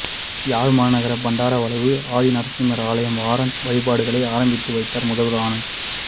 யாழ் மாநகர பண்டாரவளவு ஆதி நரசிம்மர் ஆலய வாராந்த வழிபாடுகளை ஆரம்பித்து வைத்தார் முதல்வர் ஆனல்ட்